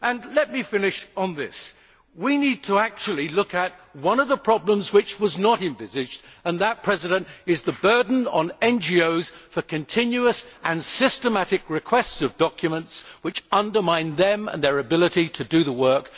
Let me finish on this we need to look at one of the problems that was not envisaged, and that is the burden on NGOs of continuous and systematic requests of documents which undermine them and their ability to do their work.